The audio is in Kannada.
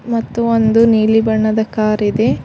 ಮತ್ತು ಒಂದು ನೀಲಿ ಬಣ್ಣದ ಕಾರ್ ಇದೆ.